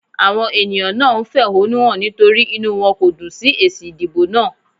Àwọn ènìyàn náà ń fẹ̀họ́núhàn nítorí inú wọn kò dùn sí èsì ìdìbò náà.